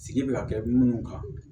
Sigi bɛ ka kɛ minnu kan